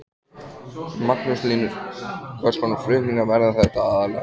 Magnús Hlynur: Hvers konar flutningar verða þetta aðallega?